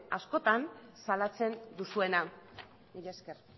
askotan salatzen duzuena mila esker